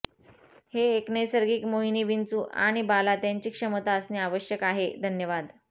हे एक नैसर्गिक मोहिनी विंचू आणि बाला त्यांची क्षमता असणे आवश्यक आहे धन्यवाद